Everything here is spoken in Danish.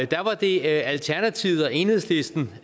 da var det alternativet og enhedslisten